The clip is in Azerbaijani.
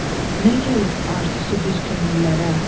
nə gəlib arzusu bir könüllərə.